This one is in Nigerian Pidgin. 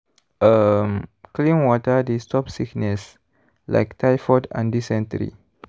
um clean water dey stop sickness like typhoid and dysentery.